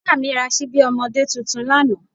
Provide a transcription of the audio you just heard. Ìyá mi ra ṣíbí ọmọdé tuntun lánàá